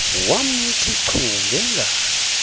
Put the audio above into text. wamthi chu ngengalo